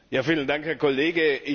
Vielen Dank, Herr Kollege.